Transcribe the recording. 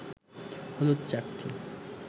হলুদ চাকতি